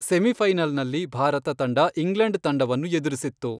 ಸೆಮಿಫೈನಲ್ನಲ್ಲಿ ಭಾರತ ತಂಡ ಇಂಗ್ಲೆಂಡ್ ತಂಡವನ್ನು ಎದುರಿಸಿತ್ತು.